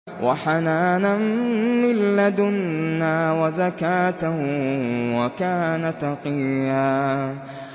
وَحَنَانًا مِّن لَّدُنَّا وَزَكَاةً ۖ وَكَانَ تَقِيًّا